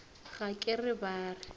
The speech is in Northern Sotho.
ga ke re ba re